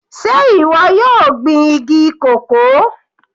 Sé ìwọ yóò gbin igi cocoa?